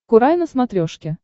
курай на смотрешке